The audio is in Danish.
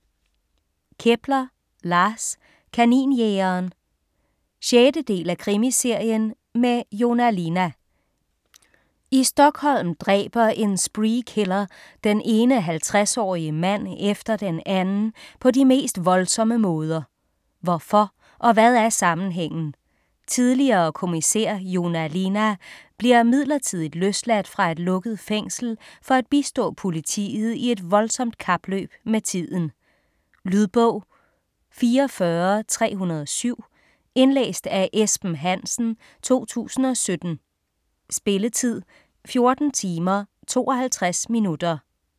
Kepler, Lars: Kaninjægeren 6. del af Krimiserien med Joona Linna. I Stockholm dræber en spree killer den ene 50-årige mand efter den anden på de mest voldsomme måder. Hvorfor og hvad er sammenhængen? Tidligere kommissær Joona Linna bliver midlertidigt løsladt fra et lukket fængsel for at bistå politiet i et voldsomt kapløb med tiden. Lydbog 44307 Indlæst af Esben Hansen, 2017. Spilletid: 14 timer, 52 minutter.